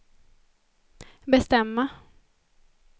bestämma